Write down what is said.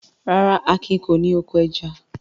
Rárá, Akin kò ní oko ẹja.